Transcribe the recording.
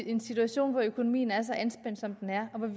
en situation hvor økonomien er så anspændt som den er